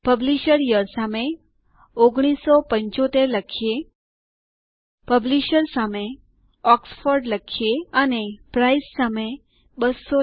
publisher સામે 1975 લખીએ publisher સામે ઓક્સફોર્ડ લખીએ અને પ્રાઇસ સામે 200